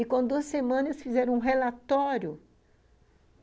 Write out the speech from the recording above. E com duas semanas fizeram um relatório.